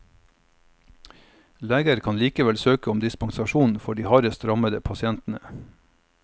Leger kan likevel søke om dispensasjon for de hardest rammede pasientene.